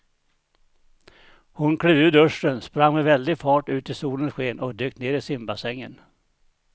Hon klev ur duschen, sprang med väldig fart ut i solens sken och dök ner i simbassängen.